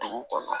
Dugu kɔnɔ